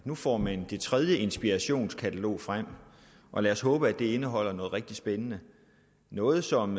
nu får man det tredje inspirationskatalog og lad os håbe at det indeholder noget rigtig spændende noget som